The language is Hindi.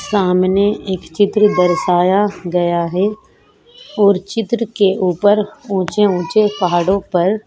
सामने एक चित्र दर्शया गया है और चित्र के ऊपर ऊँचे-ऊँचे पहाड़ो पर --